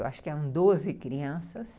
Eu acho que eram doze crianças.